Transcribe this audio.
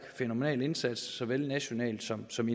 fænomenal indsats såvel nationalt som som